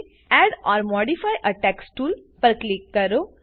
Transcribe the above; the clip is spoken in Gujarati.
add or modify a text tool પર ક્લિક કરો